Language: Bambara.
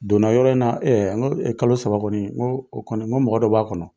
Donna yɔrɔ in na n ko kalo saba kɔni, n ko o kɔni, n ko mɔgɔ dɔ b'a kɔnɔ.